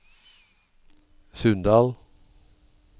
Sunndal